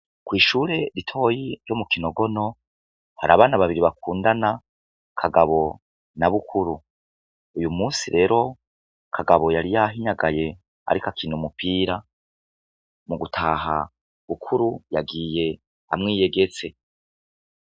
Kw'ishure ritoyi ryo mu Kibogora, hari abana babiri bakundana Kagabo na Bukuru, uyumunsi lero Kagabo yari yahinyagaye ariko akina umupira mugutaha Bukuru yagiye amwiyegetse.